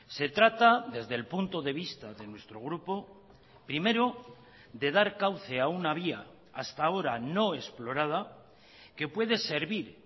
se trata desde el punto de vista de nuestro grupo primero de dar cauce a una vía hasta ahora no explorada que puede servir